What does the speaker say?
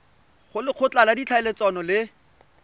go lekgotla la ditlhaeletsano le